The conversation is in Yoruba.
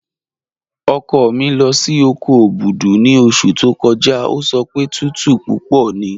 Ọkọ mi lọ sí oko Obudu ni ọṣù tó kọ́jà, o sọ pé tùtù púpọ̀ ní